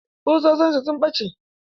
Ƙusoshin sa sun ɓace.